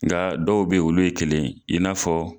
Nga dɔw bɛ ye olu ye kelen ye i n'a fɔ